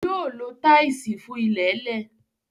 Yóò lo táìsì fún ilẹ̀ẹ́lẹ̀.